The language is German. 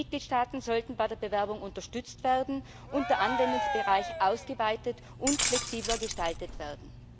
Die Mitgliedstaaten sollten bei der Bewerbung unterstützt werden, und der Anwendungsbereich sollte ausgeweitet und flexibler gestaltet werden.